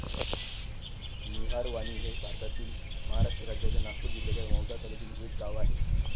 निहारवाणी हे भारतातील महाराष्ट्र राज्याच्या नागपूर जिल्ह्याच्या मौदा तालुक्यातील एक गाव आहे.